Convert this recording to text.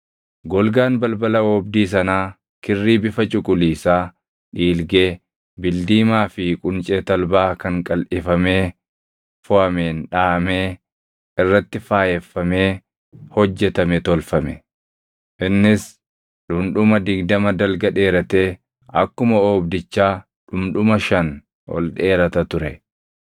Golgaan balbala oobdii sanaa kirrii bifa cuquliisaa, dhiilgee, bildiimaa fi quncee talbaa kan qalʼifamee foʼameen dhaʼamee irratti faayeffamee hojjetame tolfame. Innis dhundhuma digdama dalga dheeratee akkuma oobdichaa dhundhuma shan ol dheerata ture;